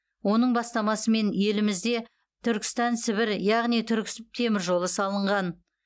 оның бастамасымен елімізде түркістан сібір яғни түркісіб теміржолы салынған